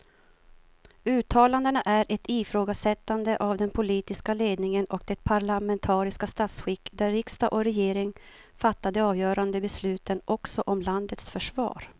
Uttalandena är ett ifrågasättande av den politiska ledningen och det parlamentariska statsskick där riksdag och regering fattar de avgörande besluten också om landets försvar.